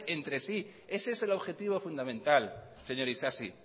entre sí este es el objetivo fundamental señor isasi